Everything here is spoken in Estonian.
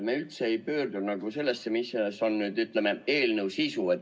Me üldse ei pööra tähelepanu sellele, mis on eelnõu sisu.